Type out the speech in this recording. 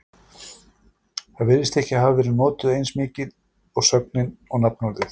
Það virðist ekki hafa verið notað eins mikið og sögnin og nafnorðið.